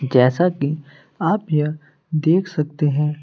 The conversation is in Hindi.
जैसा कि आप यह देख सकते हैं।